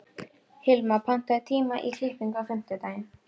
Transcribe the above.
Hilma, pantaðu tíma í klippingu á fimmtudaginn.